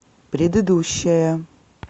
предыдущая